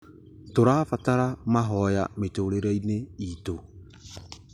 Tũrabatara mahoya mĩtũrĩre-inĩ itũ